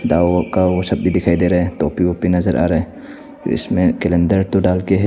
का वो सब भी दिखाई दे रहा हैं टोपी वोपी नजर आ रा हैं इसमें कैलेंडर --